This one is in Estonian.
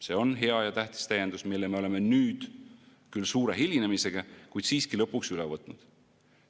See on hea ja tähtis täiendus, mille me oleme nüüd, küll suure hilinemisega, kuid siiski lõpuks üle võtnud.